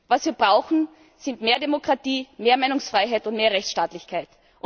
Was wir brauchen, ist mehr Demokratie, mehr Meinungsfreiheit und mehr Rechtsstaatlichkeit.